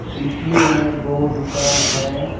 इसी में दो दुकान है।